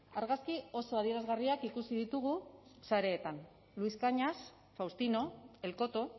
argazki oso adierazgarriak ikusi ditugu sareetan luis cañas faustino el coto